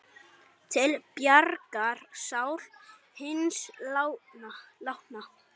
Til bjargar sál hins látna.